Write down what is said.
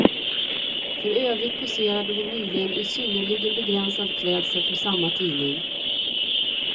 För övrigt poserade hon nyligen i synnerligen begränsad klädsel för samma tidning.